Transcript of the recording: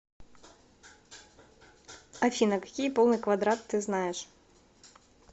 афина какие полный квадрат ты знаешь